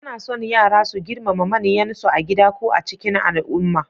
Ana son yara su girmama manyansu a gida ko a cikin al'umma.